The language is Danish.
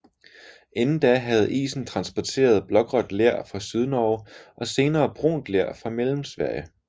Inden da havde isen transporteret blågråt ler fra Sydnorge og senere brunt ler fra Mellemsverige